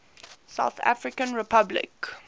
south african republic